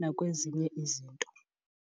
nakwezinye izinto.